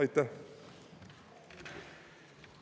Aitäh!